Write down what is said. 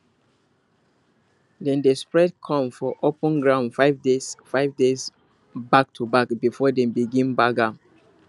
dem dey spread corn for open ground five days five days backtoback before dem begin bag am